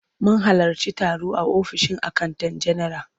Mun halarci taro a ofishin akanta general.